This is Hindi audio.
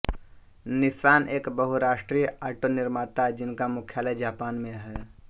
निसान एक बहुराष्ट्रीय ऑटोनिर्माता जिनका मुख्यालय जापान में है